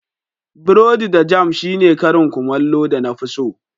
Borodi da jam shine karin kumallo na da na fi so.